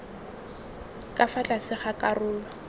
ka fa tlase ga karolo